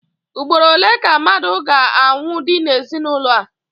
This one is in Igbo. Ugboro ole ka mmadụ ga-anwụdi n'ezinụlọ a?